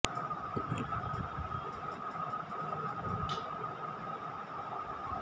ಸಮಾಜಶಾಸ್ತ್ರದಲ್ಲಿ ಪದವಿ ಪಡೆದಿರುವ ಭಾಮಾ ಮೊದಲಿಗೆ ಟೀವಿ ಕಾರ್ಯಕ್ರಮಗಳ ನಿರೂಪಕಿಯಾಗಿ ಕಾಣಿಸಿಕೊಂಡವರು